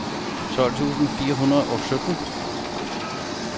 tolv tusind fire hundrede og sytten